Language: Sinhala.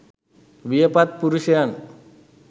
වියපත් පුරුෂයන්